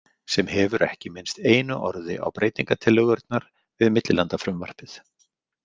Sem hefur ekki minnst einu orði á breytingatillögurnar við millilandafrumvarpið.